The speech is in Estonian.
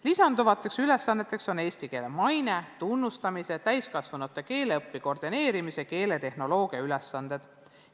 Lisanduvad ülesanded on eesti keele maine, tunnustamise, täiskasvanute keeleõppe koordineerimise ja keeletehnoloogiaga seotud ülesanded.